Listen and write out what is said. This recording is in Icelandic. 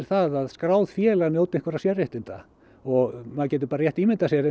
það að skráð félag njóti einhverra sérréttinda og maður gæti bara rétt ímyndað sér